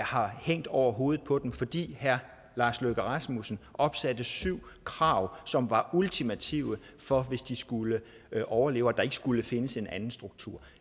har hængt over hovedet på dem fordi herre lars løkke rasmussen opsatte syv krav som var ultimative for at de skulle overleve og der ikke skulle findes en anden struktur